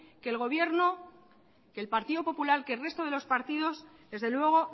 que el gobierno que el partido popular que el resto de los partidos desde luego